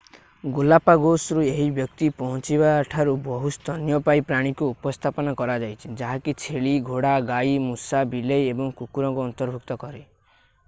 ଗାଲାପାଗୋସ୍‌ରୁ ଏହି ବ୍ୟକ୍ତି ପହଞ୍ଚିବାଠାରୁ ବହୁ ସ୍ତନ୍ୟପାୟୀ ପ୍ରାଣୀଙ୍କୁ ଉପସ୍ଥାପନ କରାଯାଇଛି ଯାହାକି ଛେଳି ଘୋଡ଼ା ଗାଈ ମୂଷା ବିଲେଇ ଏବଂ କୁକୁରଙ୍କୁ ଅନ୍ତର୍ଭୁକ୍ତ କରେ।